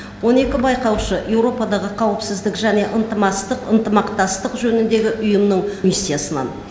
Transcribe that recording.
он екі байқаушы еуропадағы қауіпсіздік және ынтымақтастық жөніндегі ұйымның миссиясынан